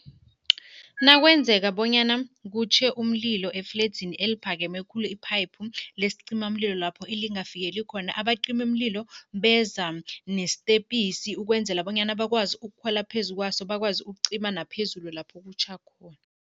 Nakwenzeka bonyana kutjhe umlilo efledzini eliphakeme khulu, iphayiphu lesicimamlilo lapho elingafikela khona, abacimimlilo beza nesitepisi ukwenzela bonyana bakwazi ukukhwela phezu kwaso, bakwazi ukucima naphezulu lapho kutjha khona.